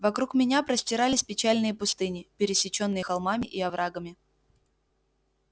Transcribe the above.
вокруг меня простирались печальные пустыни пересечённые холмами и оврагами